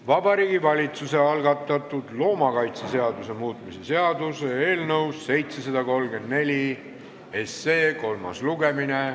Vabariigi Valitsuse algatatud loomakaitseseaduse muutmise seaduse eelnõu 734 kolmas lugemine.